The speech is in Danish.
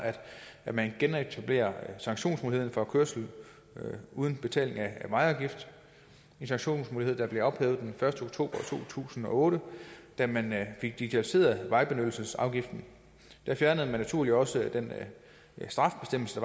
at man genetablerer sanktionsmuligheden for kørsel uden betaling af vejafgift en sanktionsmulighed der blev ophævet den første oktober to tusind og otte da man digitaliserede vejbenyttelsesafgiften da fjernede man naturligt også den straffebestemmelse